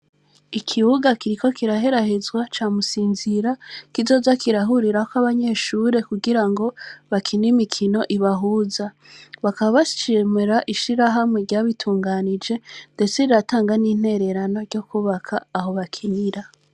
Ikibuga kiriko kiraherahezwa ca Musinzira. Kizoza kirahurirako abanyeshure kugira ngo bakine imikino ibahuza. Bakaba bashimira ishirahamwe ryabitunganije, ndetse riratanga n',intererano yo kwubaka aho bakinira.